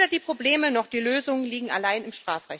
Denn weder die Probleme noch die Lösungen liegen allein im